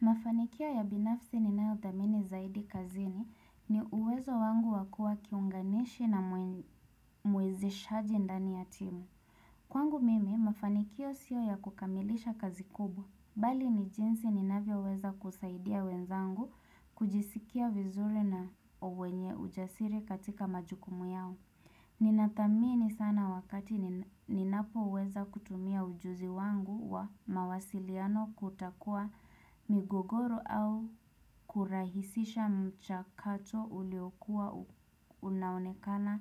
Mafanikio ya binafsi ninayodhamini zaidi kazini ni uwezo wangu wa kuwa kiunganishi na mwezeshaji ndani ya timu. Kwangu mimi, mafanikio sio ya kukamilisha kazi kubwa. Bali ni jinsi ninavyo weza kusaidia wenzangu kujisikia vizuri na uwenye ujasiri katika majukumu yao. Ninadhamini sana wakati ninapo uweza kutumia ujuzi wangu wa mawasiliano kutakua migogoro au kurahisisha mchakacho uliokuwa unaonekana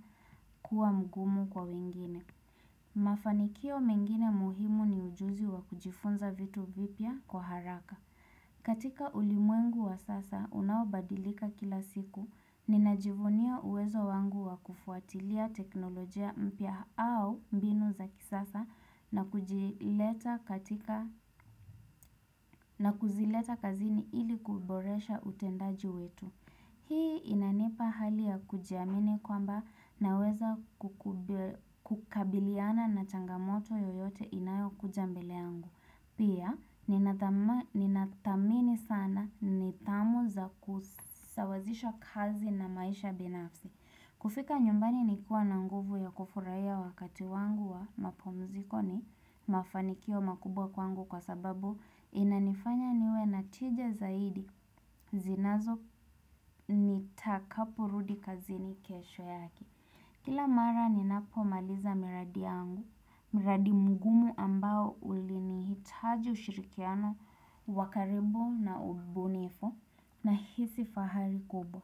kuwa mgumu kwa wengine. Mafanikio mengine muhimu ni ujuzi wa kujifunza vitu vipya kwa haraka. Katika ulimwengu wa sasa unawabadilika kila siku, ninajivunia uwezo wangu wa kufuatilia teknolojia mpya au mbinu za kisasa na na kuzileta kazini ili kuboresha utendaji wetu. Hii inanipa hali ya kujiamini kwamba naweza kukabiliana na changamoto yoyote inayo kuja mbele yangu. Pia ninadhamini sana nidhamu za kusawazisha kazi na maisha binafsi. Kufika nyumbani ni kuwa na nguvu ya kufurahia wakati wangu wa mapumziko ni mafanikio makubwa kwangu kwa sababu inanifanya niwe na tije zaidi zinazo nitakaporudi kazini kesho yake. Kila mara ni napo maliza miradi yangu, mradi mgumu ambao uli nihitaji ushirikiano wa karibu na ubunifu na hisi fahari kubwa.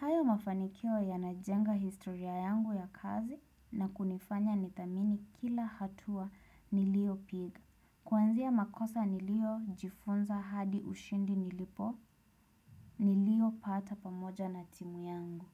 Hayo mafanikio yanajenga historia yangu ya kazi na kunifanya nidhamini kila hatua niliopiga. Kuanzia makosa nilio jifunza hadi ushindi nilipo, nilio pata pamoja na timu yangu.